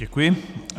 Děkuji.